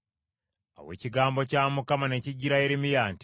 Awo ekigambo kya Mukama ne kijjira Yeremiya nti,